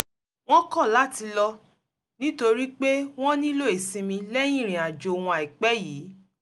wọ́n kọ̀ láti lọ nítorí pé wọ́n nílò ìsinmi lẹ́yìn ìrìn àjò wọn àìpẹ́ yìí